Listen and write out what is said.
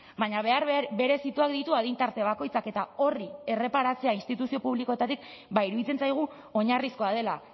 baina behar berezituak ditu adin tarte bakoitzak eta horri erreparatzea instituzio publikoetatik iruditzen zaigu oinarrizkoa dela